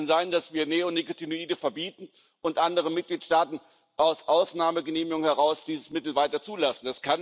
Wie kann es denn sein, dass wir Neonikotinoide verbieten und andere Mitgliedstaaten aus Ausnahmegenehmigungen heraus dieses Mittel weiter zulassen?